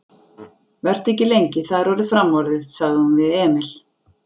Vertu ekki lengi, það er orðið framorðið, sagði hún við Emil.